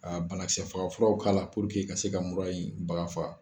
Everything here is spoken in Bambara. Ka banakisɛ furaw k'a la ka se ka mura in baga faga.